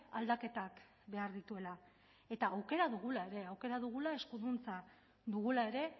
aldaketak behar dituela eta aukera dugula ere aukera dugula eskuduntza dugula ere